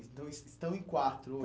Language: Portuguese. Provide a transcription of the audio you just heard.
Então estão em quatro